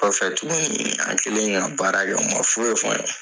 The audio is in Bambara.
Kɔfɛ tuguni an kɛlen ka baara kɛ o man foyi fɔ an ye.